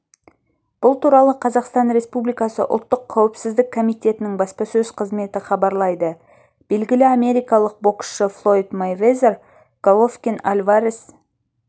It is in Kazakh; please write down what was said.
бұл туралы қазақстан республикасы ұлттық қауіпсіздік комитетінің баспасөз қызметі хабарлайды белгілі америкалық боксшы флойд мэйвезер головкин-альварес